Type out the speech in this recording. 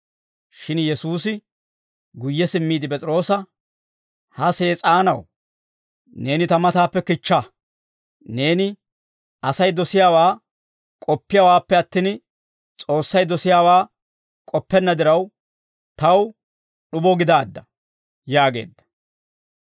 Shin Yesuusi guyye simmiide P'es'iroosa, «Ha Sees'aanaw, neeni ta matappe kichcha; neeni Asay dosiyaawaa k'oppiyaawaappe attin, S'oossay dosiyaawaa k'oppenna diraw, taw d'ubo gidaadda» yaageedda.